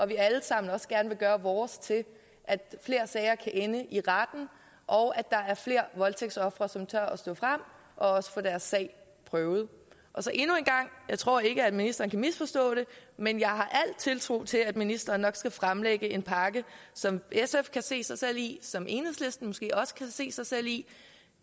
vi alle sammen også gerne vil gøre vores til at flere sager kan ende i retten og at der er flere voldtægtsofre som tør stå frem og også få deres sag prøvet endnu en gang jeg tror ikke ministeren kan misforstå det men jeg har al tiltro til at ministeren nok skal fremlægge en pakke som sf kan se sig selv i som enhedslisten måske også kan se sig selv i